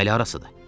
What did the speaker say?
Bu hələ harasıdır?